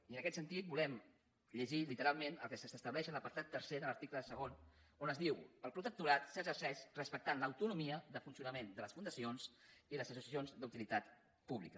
i en aquest sentit volem llegir literalment el que s’estableix en l’apartat tercer de l’article segon on es diu el protectorat s’exerceix respectant l’autonomia de funcionament de les fundacions i les associacions d’utilitat pública